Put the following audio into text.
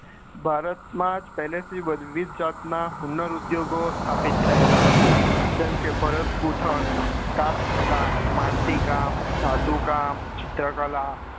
ભારતમાં પેહલા થીજ વિવિધ જાતના હુનર ઉદ્યોગો સ્થાપિત થયેલા હતા જેમકે ભરત ગુથન cast કળા માટી કામ ધાતુ કામ ચિત્ર કળા